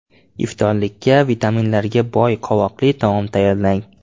Iftorlikka vitaminlarga boy qovoqli taom tayyorlang.